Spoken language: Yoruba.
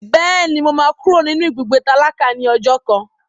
Bẹ́ẹ̀ni, mo máa kúrò nínú ibùgbé tálákà ní ọjọ́ kan.